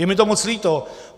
Je mi to moc líto.